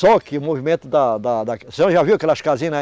Só que o movimento da, da, da. A senhora já viu aquelas casinhas, né?